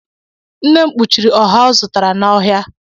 Nne m kpuchiri ọha ọ zụtara n’ọhịa